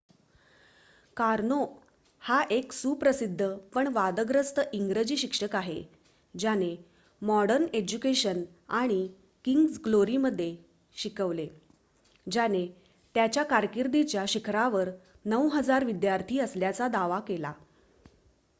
Karnaugh हा एक सुप्रसिद्ध पण वादग्रस्त इंग्रजी शिक्षक आहे ज्याने मॉडर्न एज्युकेशन आणि किंग्स ग्लोरीमध्ये शिकवले ज्याने त्याच्या कारकिर्दीच्या शिखरावर ९,००० विद्यार्थी असल्याचा दावा केला